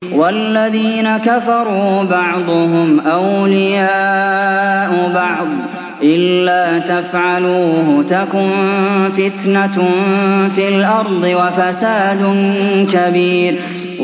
وَالَّذِينَ كَفَرُوا بَعْضُهُمْ أَوْلِيَاءُ بَعْضٍ ۚ إِلَّا تَفْعَلُوهُ تَكُن فِتْنَةٌ فِي الْأَرْضِ وَفَسَادٌ كَبِيرٌ